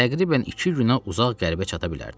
Təxminən iki günə uzaq qərbə çata bilərdim.